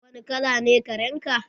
Wani kala ne karen ka?